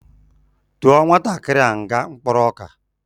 Tụọ nwatakịrị a nga mkporo ọka